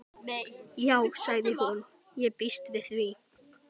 Já sagði hún, ég býst við því